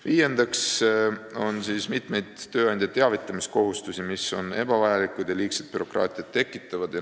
Viiendaks toon välja mitmeid tööandja teavitamiskohustusi, mis on ebavajalikud ja tekitavad liigset bürokraatiat.